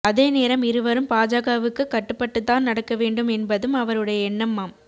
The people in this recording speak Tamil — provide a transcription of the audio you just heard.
அதே நேரம் இருவரும் பாஜகவுக்கு கட்டுப்பட்டுத்தன் நடக்க வேண்டும் என்பதும் அவருடைய எண்ணமாம்